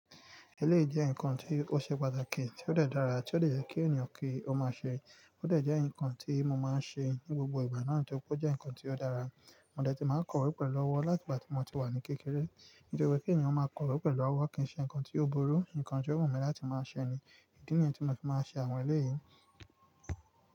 Eléyi jẹ́ nǹkan tí ó ṣe pàtàkì, tí ó dẹ̀ dára, tí ó lè jẹ́ kí ènìyàn kí ó máa ṣe, ó dẹ́ jẹ́ nǹkan tí mo máa ń ṣe ní gbogbo ìgbà náà, nítorí pé ó jẹ́ nǹkan tí ó dára. Mò dẹ́ tí màá kọ̀wé pẹ̀lú ọwọ́ láti ìgbà tí mo ti wà ní kékeré, nítorí pé kí ènìyàn máa kọ̀wé pẹ̀lú ọwọ́ kì í ṣe nǹkan tí ó burú. Nǹkan tí o wumi láti máa ṣẹ ni, ìdí nìyẹn tí mo fi máa ṣe àwọn eléyìí.